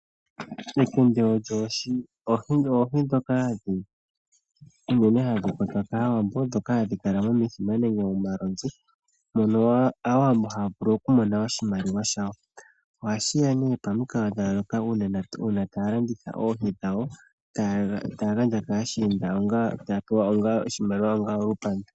Ekende odho oohi dhoka unene hadhi kwatwa kAawambo, dhoka hadhi kala momithima nenge momalonzi. Mono Aawambo haya vulu okumona oshimaliwa shawo, ohashi ya nee pomikalo dha yooloka uuna aantu taya landitha oohi dhawo, taya gandja kaashinda onga taya pewa onga oshimaliwa onga olupandu.